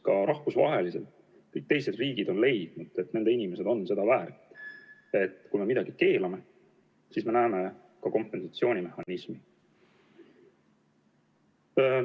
Ka rahvusvaheliselt kõik teised riigid on leidnud, et nende inimesed on seda väärt, et kui me midagi keelame, siis me näeme ette ka kompensatsioonimehhanismi.